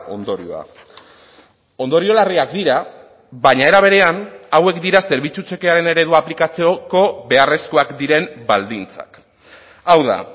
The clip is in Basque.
ondorioa ondorio larriak dira baina era berean hauek dira zerbitzu txekearen eredu aplikatzeko beharrezkoak diren baldintzak hau da